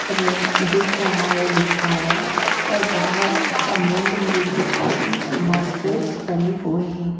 दिख रहा है लिखा हुआ है बाहर अमूल डेरी की काफी बास्केट पड़ी हुई है।